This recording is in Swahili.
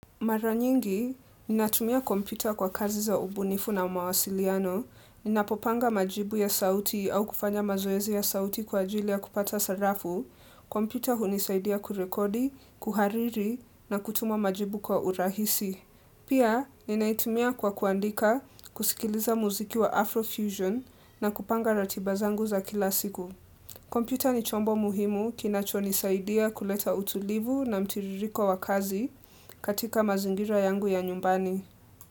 Mara nyingi, ninatumia kompyuta kwa kazi za ubunifu na mawasiliano, ninapopanga majibu ya sauti au kufanya mazoezi ya sauti kwa ajili ya kupata sarafu, kompyuta hunisaidia kurekodi, kuhariri na kutuma majibu kwa urahisi. Pia, ninaitumia kwa kuandika, kusikiliza muziki wa Afrofusion na kupanga ratiba zangu za kila siku. Kompyuta ni chombo muhimu kinachonisaidia kuleta utulivu na mtiririko wa kazi katika mazingira yangu ya nyumbani.